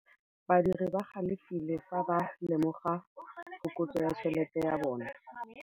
Badiri ba galefile fa ba lemoga phokotsô ya tšhelête ya bone.